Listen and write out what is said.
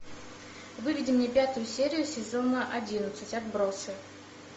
выведи мне пятую серию сезона одиннадцать отбросы